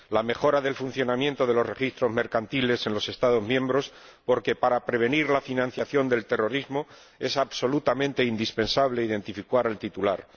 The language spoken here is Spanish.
la mejora del funcionamiento de los registros mercantiles en los Estados miembros, porque, para prevenir la financiación del terrorismo, es absolutamente indispensable identificar al titular